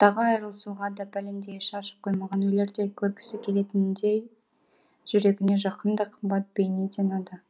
айырылысуға да пәлендей іші ашып қоймаған өлердей көргісі келетіндей жүрегіне жақын да қымбат бейнеден ада